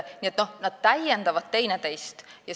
Need täiendavad teineteist.